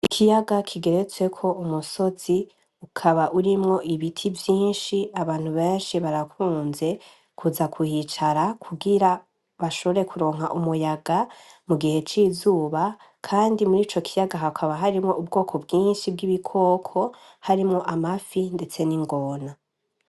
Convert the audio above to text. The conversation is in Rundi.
Ikiyaga kigeretseko umusozi ukaba urimwo ibiti vyinshi abantu benshi barakunze kuza kuhicara kugira bashore kuronka umuyaga mu gihe cizuba, kandi muri co kiyaga hakaba harimwo ubwoko bwinshi bw'ibikoko harimwo amafi, ndetse n'ingona.